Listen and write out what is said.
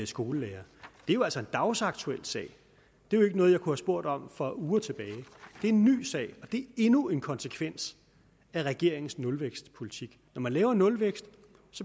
skolelærere er jo altså en dagsaktuel sag det er ikke noget jeg kunne have spurgt om for uger tilbage det er en ny sag og det endnu en konsekvens af regeringens nulvækstpolitik når man laver nulvækst